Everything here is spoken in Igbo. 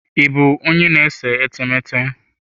Ị bụ onye na-ese etemeete?